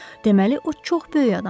Deməli o çox böyük adamdır.